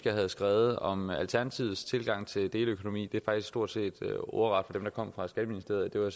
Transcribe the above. jeg havde skrevet om alternativets tilgang til deleøkonomi var faktisk stort set ordret dem der kom fra skatteministeriet det var